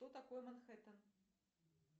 кто такой манхэттен